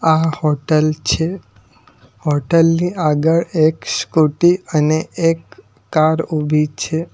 આ હોટલ છે હોટલ ની આગળ એક સ્કુટી અને એક કાર ઊભી છે.